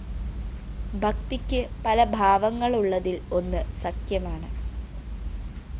ഭക്തിക്ക്‌ പലഭാവങ്ങളുള്ളതില്‍ ഒന്ന്‌ സഖ്യമാണ്‌